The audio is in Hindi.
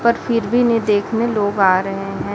पर फिर भी इन्हे देखने लोग आ रहे हैं।